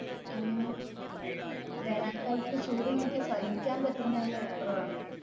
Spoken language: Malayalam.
അങ്ങനെ വേനൽ കാലത്തു ചൂട് നമുക്ക് സഹിക്കാൻ പറ്റുന്നതിന് അപ്പുറമാണ്.